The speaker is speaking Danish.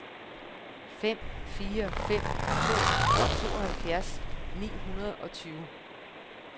fem fire fem to tooghalvfjerds ni hundrede og tyve